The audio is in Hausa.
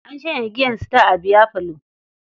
An shanye giyar Star a biyafalon.